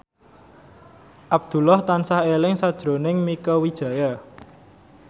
Abdullah tansah eling sakjroning Mieke Wijaya